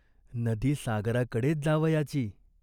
नदी सागराकडेच जावयाची.